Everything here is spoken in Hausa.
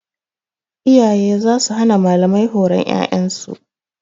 Iyaye za su hana malamai horon ƴaƴan su.